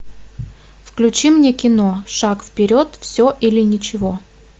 включи мне кино шаг вперед все или ничего